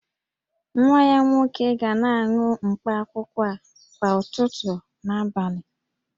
Nwa ya nwoke ga na-aṅụ mkpaakwụkwọ a kwa ụtụtụ na abalị